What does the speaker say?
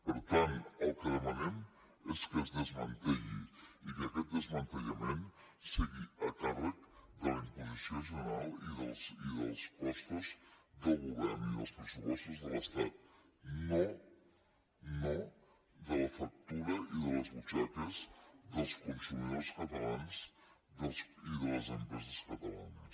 per tant el que demanem és que es desmantelli i que aquest desmantellament sigui a càrrec de la imposició general i dels costos del govern i dels pressupostos de l’estat no no de la factura i de les butxaques dels consumidors catalans i de les empreses catalanes